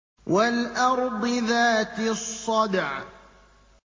وَالْأَرْضِ ذَاتِ الصَّدْعِ